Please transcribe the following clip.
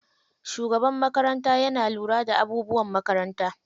Shugaban makaranta yana lura da abubuwan makaranta.